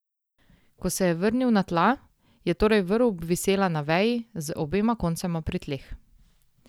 Ko se je vrnil na tla, je torej vrv obvisela na veji, z obema koncema pri tleh.